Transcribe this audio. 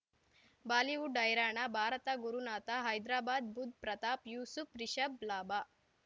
Bollywood ಹೈರಾಣ ಭಾರತ ಗುರುನಾಥ ಹೈದರಾಬಾದ್ ಬುಧ್ ಪ್ರತಾಪ್ ಯೂಸುಫ್ ರಿಷಬ್ ಲಾಭ